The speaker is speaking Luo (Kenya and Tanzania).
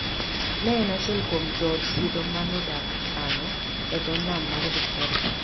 Ne en achiel kuom jood Sidho ma nodak Kano, e dho Nam mar Victoria.